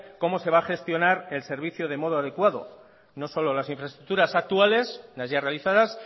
cómo se va a gestionar el servicio de modo adecuado no solo las infraestructuras actuales las ya realizadas